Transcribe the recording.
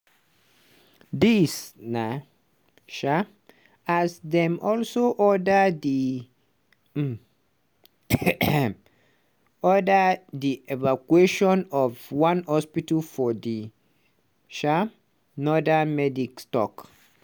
dis na um as dem also order di order di evacuation of one hospital for di um northern medics tok.